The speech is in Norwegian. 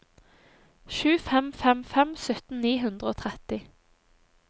sju fem fem fem sytten ni hundre og tretti